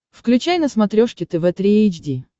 включай на смотрешке тв три эйч ди